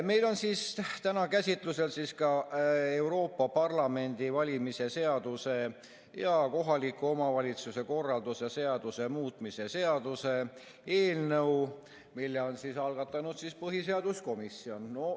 Meil on täna käsitlusel Euroopa Parlamendi valimise seaduse ja kohaliku omavalitsuse korralduse seaduse muutmise seaduse eelnõu, mille on algatanud põhiseaduskomisjon.